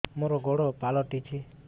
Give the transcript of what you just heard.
ମୋର ଗୋଡ଼ ପାଲଟିଛି